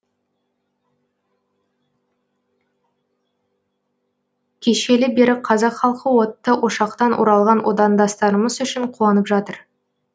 кешелі бері қазақ халқы отты ошақтан оралған отандастарымыз үшін қуанып жатыр